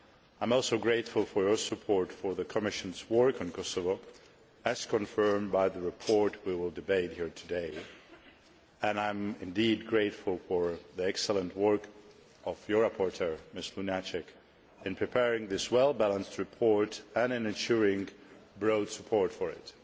I am also grateful for your support for the Commission's work on Kosovo, as confirmed by the report we will debate here today, and I am very grateful for the excellent work of your rapporteur, Ms Lunacek, in preparing this well balanced report and ensuring broad support for it.